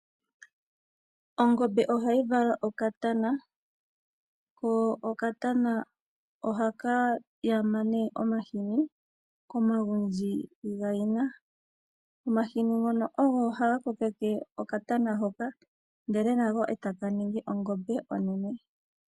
Ongombe ohayi vala okatana, ko okatana ohaka yama nee omashini komagundji gayina . Omahini ngono ogo haga kokeke okatana hoka ndele nako taka ningi ongombe onene.